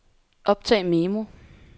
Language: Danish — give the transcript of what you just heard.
optag memo